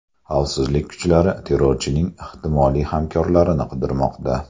Xavfsizlik kuchlari terrorchining ehtimoliy hamkorlarini qidirmoqda.